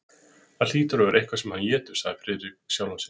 Það hlýtur að vera eitthvað sem hann étur, sagði Friðrik við sjálfan sig.